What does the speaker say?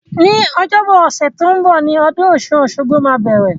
Ní ọjọ́bọ ọ̀sẹ̀ to n bo ni odún osun-osogbo máa bẹ̀rẹ̀